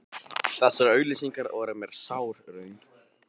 Þessar auglýsingar voru mér sár raun.